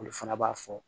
Olu fana b'a fɔ